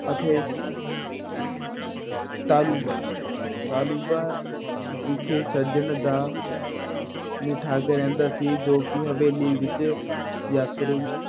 ਅਤੇ ਤਾਲੁੰਬਾ ਤਾਲੁੰਬਾ ਵਿਖੇ ਸੱਜਣ ਦਾ ਠੱਗ ਰਹਿੰਦਾ ਸੀ, ਜੋ ਕਿ ਹਵੇਲੀ ਵਿੱਚ ਯਾਤਰੂ